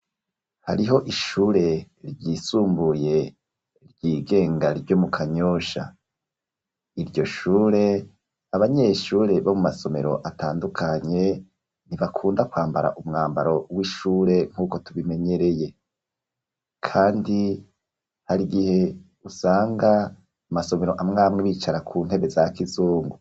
Hariho ishure, ryisumbuye, ryigenga ryo mu Kanyosha; iryo shure, abanyeshure, bo mu masomero, atandukanye, ntibakunda kwambara, umwambaro w'ishure, nk'uko tubimenyereye; kandi, hari igihe, usanga amasomero, amwe amwe, bicara ku ntebe za kizungu.